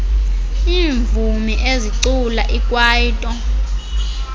iimvumi ezicula ikwaito